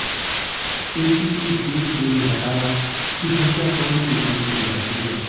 ACP Bir Singh ने बताया कि हत्याकांड की जांच की जा रही है